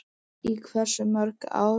Í hversu mörg ár?